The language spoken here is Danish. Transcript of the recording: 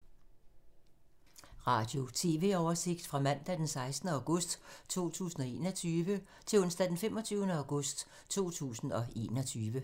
Radio/TV oversigt fra mandag d. 16. august 2021 til onsdag d. 25. august 2021